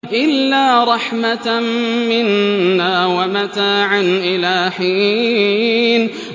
إِلَّا رَحْمَةً مِّنَّا وَمَتَاعًا إِلَىٰ حِينٍ